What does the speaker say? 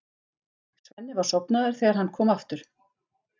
Svenni var sofnaður þegar hann kom aftur.